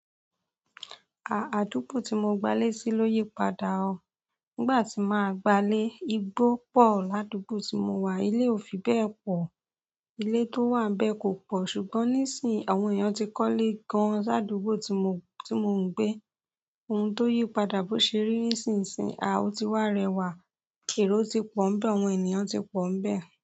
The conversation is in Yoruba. À, àdúgbò tí mo gbalé sí ló yípadà o. Nígbà tí màá gbalé, igbó pọ̀ ládúgbò tí mo wà, ilé ò fi bẹ́ẹ̀ pọ̀. Ilé tó wà n bẹ́ẹ̀ kò pọ̀ ṣùgbọ́n nísìí, àwọn èèyàn ti kọ́lé gan-an ládúgbò tí mo, tí mo ń gbé. Oun ti o yi padà bi o se ri nsinsin.